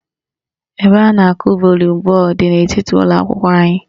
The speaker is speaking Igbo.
Ebe a na-akụ volibọọlụ dị n'etiti ụlọakwụkwọ anyị